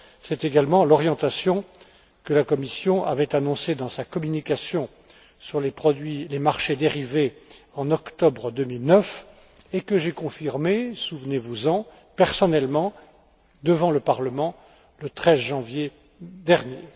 C'est également l'orientation que la Commission avait annoncée dans sa communication sur les marchés dérivés en octobre 2009 et que j'ai confirmée, souvenez vous en, personnellement, devant le Parlement le 13 janvier dernier.